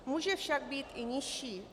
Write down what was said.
Může však být i nižší.